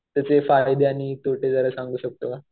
त्याचे फायदे आणि तोटे जरा सांगू शकतो का?